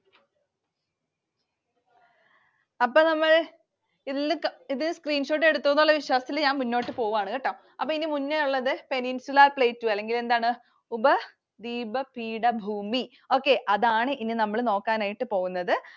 അപ്പൊ നമ്മൾ ഇത് Screenshot എടുത്തു എന്നുള്ള വിശ്വാസത്തിൽ ഞാൻ മുന്നോട്ട് പോകാണുകേട്ടോ. അപ്പൊ ഇനി മുന്നെയുള്ളതു Peninsular Plateaus അല്ലെങ്കിൽ എന്താണ്. ഉപദ്വീപ പീഠഭൂമി. Okay. അതാണ് ഇനി നമ്മൾ നോക്കാനായിട്ട് പോകുന്നത്.